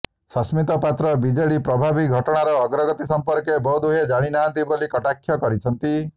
Sasmit Patra BJP ପ୍ରଭାରୀ ଘଟଣାର ଅଗ୍ରଗତି ସମ୍ପର୍କରେ ବୋଧହୁଏ ଜାଣି ନାହାନ୍ତି ବୋଲି କଟାକ୍ଷ କରିଛନ୍ତି